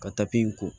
Ka in ko